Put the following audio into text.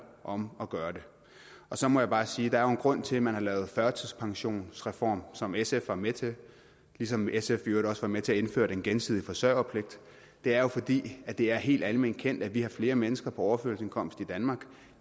om at gøre det så må jeg bare sige at der jo er en grund til at man har lavet en førtidspensionsreform som sf var med til ligesom sf i øvrigt også var med til at indføre den gensidige forsørgerpligt det er jo fordi det er helt alment kendt at vi har flere mennesker på overførselsindkomst i danmark